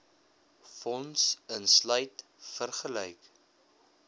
fonds insluit vergelyk